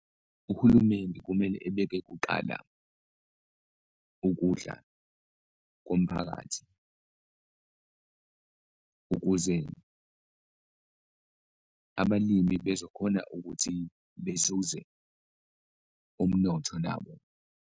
Uhulumeni kumele ebeke kuqala ukudla komphakathi ukuze abalimi bezokhona ukuthi bezuze umnotho nabo.